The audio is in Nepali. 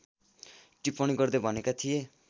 टिप्पणी गर्दै भनेका थिए